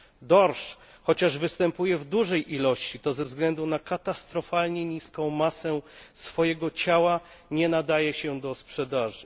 Dorsz, chociaż występuje w dużej ilości, to ze względu na katastrofalnie niską masę swojego ciała nie nadaje się do sprzedaży.